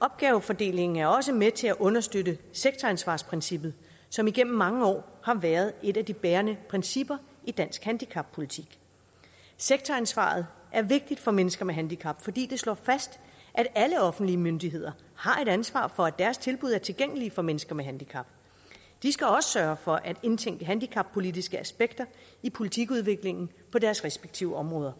opgavefordelingen er også med til at understøtte sektoransvarsprincippet som igennem mange år har været et af de bærende principper i dansk handicappolitik sektoransvaret er vigtigt for mennesker med handicap fordi det slår fast at alle offentlige myndigheder har et ansvar for at deres tilbud er tilgængelige for mennesker med handicap de skal også sørge for at indtænke handicappolitiske aspekter i politikudviklingen på deres respektive områder